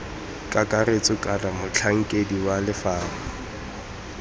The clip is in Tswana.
kakaretso kana motlhankedi wa lefapha